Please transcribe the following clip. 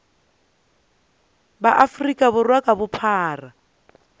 ba afrika borwa ka bophara